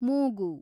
ಮೂಗು